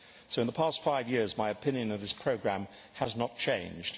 So in the past five years my opinion of this programme has not changed.